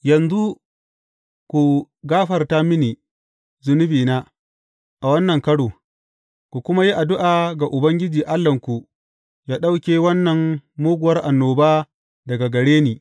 Yanzu ku gafarta mini zunubina a wannan karo, ku kuma yi addu’a ga Ubangiji Allahnku yă ɗauke wannan muguwar annoba daga gare ni.